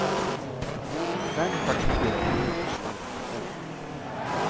Fem partier av sju slår rekord.